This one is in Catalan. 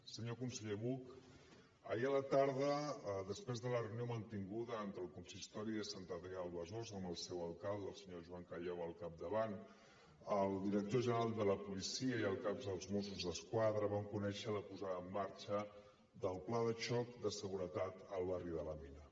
senyor conseller buch ahir a la tarda després de la reunió mantinguda entre el consistori de sant adrià de besòs amb el seu alcalde el senyor joan callau al capdavant el director general de la policia i el cap dels mossos d’esquadra vam conèixer la posada en marxa del pla de xoc de seguretat al barri de la mina